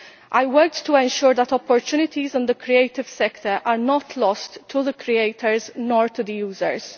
I worked to ensure that opportunities in the creative sector are not lost to the creators or to the users.